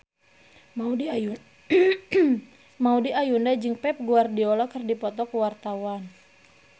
Maudy Ayunda jeung Pep Guardiola keur dipoto ku wartawan